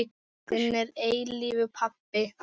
Þinn að eilífu, pabbi.